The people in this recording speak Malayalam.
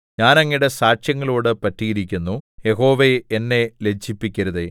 ഞാൻ അങ്ങയുടെ സാക്ഷ്യങ്ങളോടു പറ്റിയിരിക്കുന്നു യഹോവേ എന്നെ ലജ്ജിപ്പിക്കരുതേ